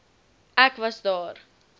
ek was daar